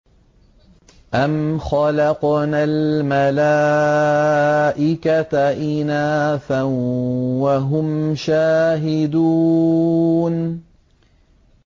أَمْ خَلَقْنَا الْمَلَائِكَةَ إِنَاثًا وَهُمْ شَاهِدُونَ